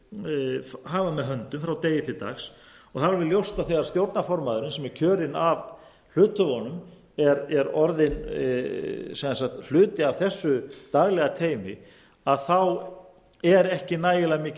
hafa með höndum frá degi til dags og það er alveg ljóst að þegar stjórnarformaðurinn sem er kjörinn af hluthöfunum er orðinn sem sagt hluti af þessu daglega teymi þá er ekki nægilega mikil